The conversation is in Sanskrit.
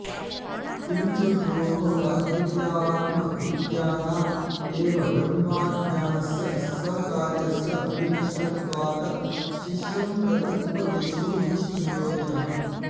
किं च गुरोः अद्वितीयात्मविज्ञानाद् एव ब्रह्माज्ञानस्य सकार्यस्य विनष्टत्वात् शिष्यं प्रति उपदेशो निष्प्रयोजनः